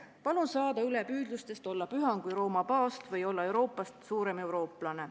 Palun saada üle püüdlustest olla püham kui Rooma paavst või olla Euroopast suurem eurooplane.